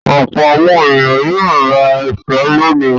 Ọ̀pọ̀ àwọn ènìyàn yóò ra èso lónìí.